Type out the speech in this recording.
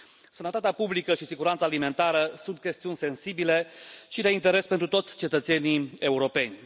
Sănătatea publică și siguranța alimentară sunt chestiuni sensibile și de interes pentru toți cetățenii europeni.